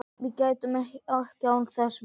Við gætum ekki án þess verið